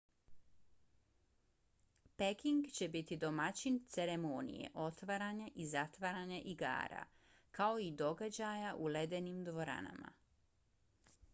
peking će biti domaćin ceremonije otvaranja i zatvaranja igara kao i događaja u ledenim dvoranama